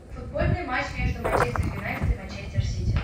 футбольный матч между манчестер юнайтед и манчестер сити